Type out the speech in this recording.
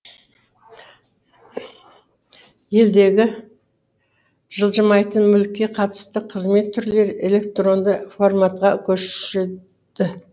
елдегі жылжымайтын мүлікке қатысты қызмет түрлері электронды форматқа көшеді